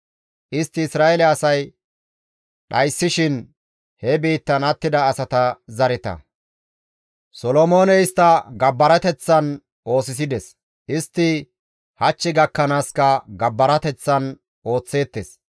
istti Isra7eele asay dhayssishin he biittan attida asata zareta. Solomooney istta gabbarateththan oosisides; istti hach gakkanaaska gabbarateththan ooththeettes.